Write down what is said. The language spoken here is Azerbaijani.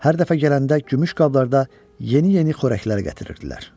Hər dəfə gələndə gümüş qablarda yeni-yeni xörəklər gətirirdilər.